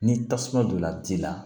Ni tasuma donna ji la